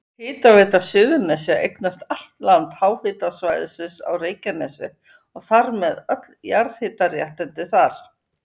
Hitaveita Suðurnesja eignast allt land háhitasvæðisins á Reykjanesi og þar með öll jarðhitaréttindi þar.